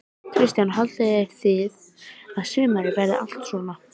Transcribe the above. Kristján: Haldið þið að sumarið verið allt svona?